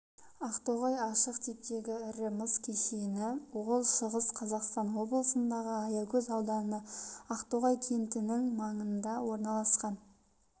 ақтоғай ашық типтегі ірі мыс кеніші ол шығыс қазақстан облысындағы аягөз ауданы ақтоғай кентінің маңында орналасқан